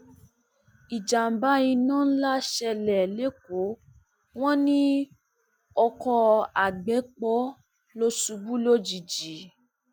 ìjàḿbà iná ńlá ṣẹlẹ lẹkọọ wọn ní oko àgbẹpọ ló ṣubú lójijì